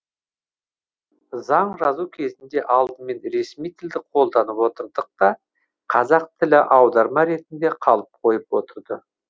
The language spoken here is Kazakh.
заң жазу кезінде алдымен ресми тілді қолданып отырдық та қазақ тілі аударма ретінде қалып қойып отырды